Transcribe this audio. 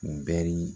Bɛri